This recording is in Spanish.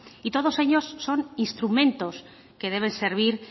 y todos ellos son instrumentos que deben servir